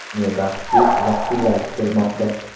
Ne baxtki, iliq kunlar kutilmoqda.